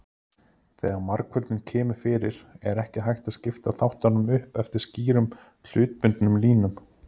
Þegar margföldun kemur fyrir er ekki hægt að skipta þáttunum upp eftir skýrum hlutbundnum línum.